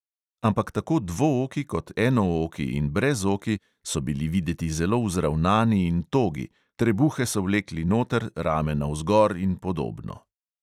Ampak tako dvooki kot enooki in brezoki so bili videti zelo vzravnani in togi, trebuhe so vlekli noter, rame navzgor in podobno.